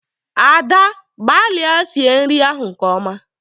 Ada! gbalịa sie nri ahụ nke ọma!